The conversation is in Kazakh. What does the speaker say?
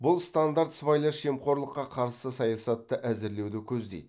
бұл стандарт сыбайлас жемқорлыққа қарсы саясатты әзірлеуді көздейді